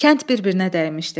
Kənd bir-birinə dəymişdi.